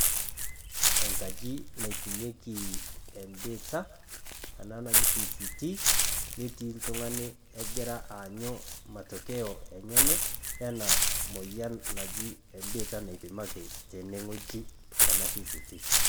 Engaji naipimieki ebiitia, ena naji VCT netii oltung'ani ogira aanyu matokeyo enyenye ena moyian naji ebiitia naipimaki tene wueji naji VCT.